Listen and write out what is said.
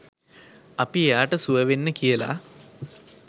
අපි එයාට සුව වෙන්න කියලා